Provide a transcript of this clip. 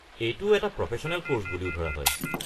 এইটো এটা professional course বুলিও ধৰা হয়।